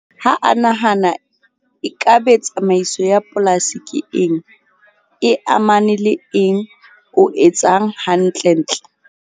Ha a nahana e ka be tsamaiso ya polasi ke eng? E amane le eng o etsang hantle ntle?